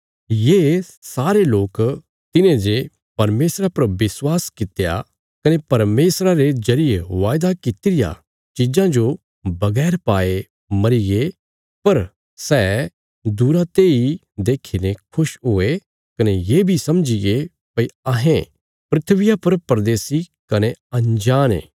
ये सारे लोक तिन्हेंजे परमेशरा पर विश्वासा कित्या कने परमेशरा रे जरिये वायदा कित्ती रियां चीजां जो बगैर पाये मरीगे पर सै दूरा तेई देखीने खुश हुये कने ये बी समझीगे भई अहें धरतिया पर परदेशी कने अंजाण ये